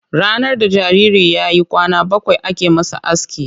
Ranar da jariri ya yi kwana bakwai ake masa aski.